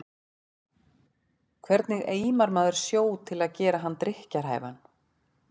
Hvernig eimar maður sjó til að gera hann drykkjarhæfan?